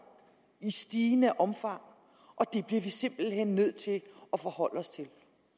i stigende omfang og det bliver vi simpelt hen nødt til at forholde os til